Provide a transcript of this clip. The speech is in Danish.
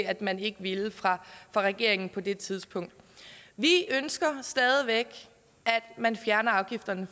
at man ikke ville fra regeringens side på det tidspunkt vi ønsker stadig væk at man fjerner afgifterne